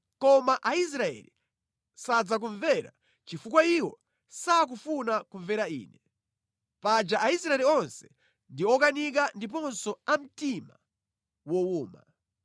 Koma Aisraeli sadzakumvera chifukwa iwo sakufuna kumvera Ine. Paja Aisraeli onse ndi okanika ndiponso a mtima wowuma.